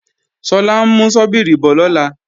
Sọlá ń mú ṣọ́bíìrì bọ̀ lọ́la